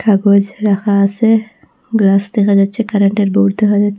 কাগজ রাখা আসে গ্লাস দেখা যাচ্ছে কারেন্টের বৌর্ড দেখা যাচ্ছে।